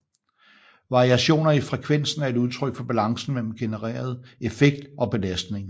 Variationer i frekvensen er et udtryk for balancen mellem genereret effekt og belastningen